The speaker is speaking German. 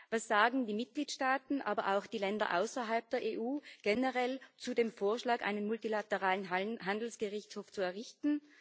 Was sagen die Mitgliedstaaten, aber auch die Länder außerhalb der EU, generell zu dem Vorschlag, einen multilateralen Handelsgerichtshof zu errichten?